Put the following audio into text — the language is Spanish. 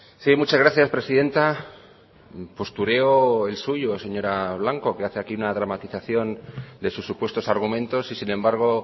sí muchas gracias presidenta postureo el suyo señora blanco que hace aquí una dramatización de sus supuestos argumentos y sin embargo